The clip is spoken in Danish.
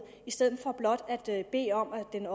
i stedet for blot at bede om at den